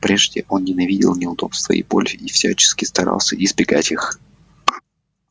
прежде он ненавидел неудобства и боль и всячески старался избегать их